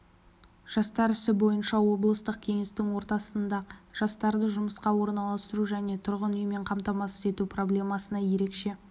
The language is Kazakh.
жастар ісі бойынша облыстық кеңестің отырысында жастарды жұмысқа орналастыру және тұрғын үймен қамтамасыз ету проблемасына ерекше